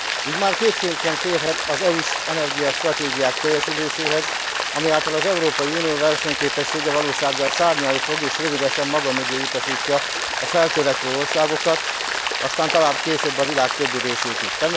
Így már kétség sem félhet az EU s energiastratégiák teljesüléséhez, ami által az Európai Unió versenyképessége valósággal szárnyalni fog, és rövidesen maga mögé utasítja a feltörekvő országokat, aztán talán később a világ többi részét is.